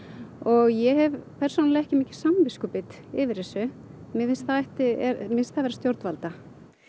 og ég hef persónulega ekki mikið samviskubit yfir þessu mér finnst það vera stjórnvalda